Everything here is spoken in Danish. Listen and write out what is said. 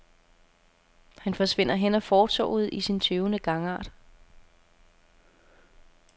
Han forsvinder hen ad fortovet i sin tøvende gangart.